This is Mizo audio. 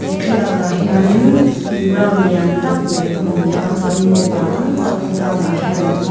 thlalakah hianin ground lian tak mai ka hmu a chuanin mipa tam tak ground ah hian an awm a.